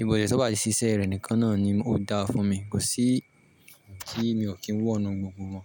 Ìbòsẹ̀ tó bá ti ṣiṣẹ́ rẹ̀ nìkan náà ni ó da fún mi. Kò sí tí mi ò kí ń wọ̀ nu gbogbo wọn.